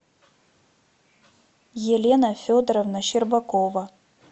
елена федоровна щербакова